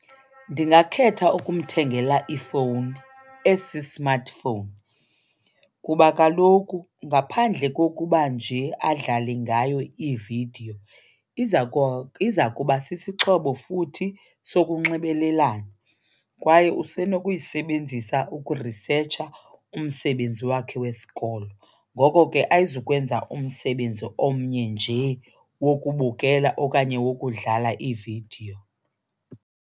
Ndingakhetha ukumthengela ifowuni esi-smartphone kuba kaloku ngaphandle kokuba nje adlale ngayo iividiyo iza kuba sisixhobo futhi sokunxibelelana kwaye usenokuyisebenzisa ukurisetsha umsebenzi wakhe wesikolo. Ngoko ke ayizukwenza umsebenzi omnye nje wokubukela okanye wokudlala iividiyo.